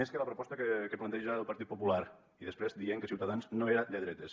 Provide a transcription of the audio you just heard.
més que la proposta que planteja el partit popular i després deien que ciutadans no era de dretes